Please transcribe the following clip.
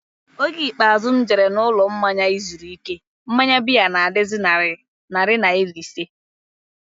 Oge ikpeazụ m jere n'ụlọmmanya izuru ike, mmanya biya na-adazi narị naira ise